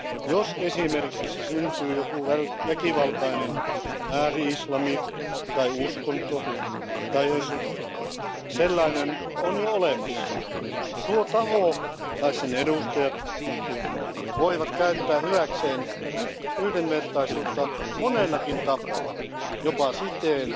Jos esimerkiksi syntyy joku väkivaltainen ääri islami tai uskonto tai jos sellainen on jo olemassa, tuo taho tai sen edustajat voivat käyttää hyväkseen yhdenvertaisuutta monellakin tapaa jopa siten,